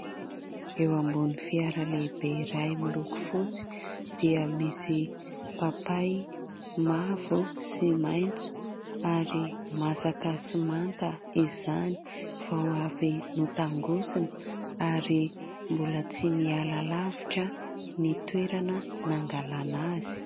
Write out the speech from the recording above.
Eo ambony fiara lehibe iray miloko fotsy dia misy papay mavo sy maitso ary masaka sy manta izany, vao avy notangosana ary mboa tsy niala lavitra ny toerana nangalana azy.